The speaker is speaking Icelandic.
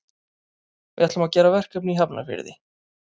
Við ætlum að gera verkefni í Hafnarfirði.